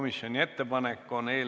Mingit muud ettepanekut tehtud ei ole.